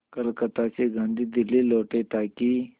कलकत्ता से गांधी दिल्ली लौटे ताकि